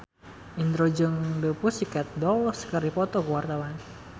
Indro jeung The Pussycat Dolls keur dipoto ku wartawan